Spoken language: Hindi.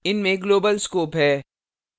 इनमें global scope है